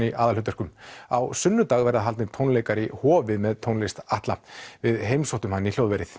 í aðalhlutverkum á sunnudag verða haldnir tónleikar í Hofi með tónlist Atla við heimsóttum hann í hljóðverið